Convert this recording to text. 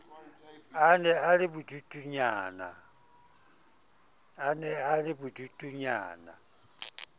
a ne a le bodutunyana